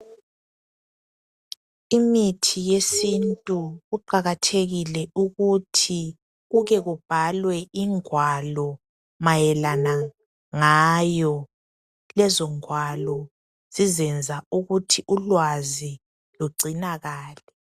Imithi yesintu kuqakathekile ukuthi kuke kubhalwe ingwalo mayelana ngayo. Lezo ngwalo zizenza ukuthi ulwazi lugcinakale.